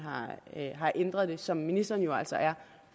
har ændret det som ministeren jo altså er